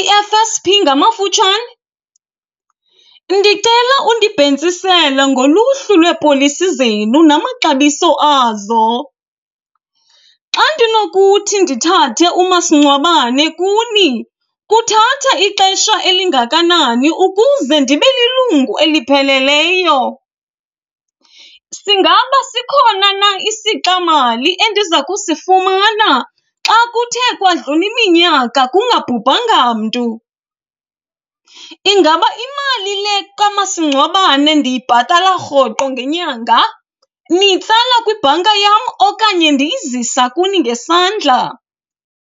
i-F_S_P ngamafutshane? Ndicela undibhentsisele ngoluhlu lweepolisi zenu namaxabiso azo. Xa ndinokuthi ndithathe umasingcwabane kuni kuthatha ixesha elingakanani ukuze ndibe lilungu elipheleleyo? Singaba sikhona na isixa mali endiza kusifumana xa kuthe kwadlula iminyaka kungabhubhanga mntu? Ingaba imali le kamasingcwabane ndiyibhatala rhoqo ngenyanga niyitsala kwibhanka yam okanye ndiyizisa kuni ngesandla?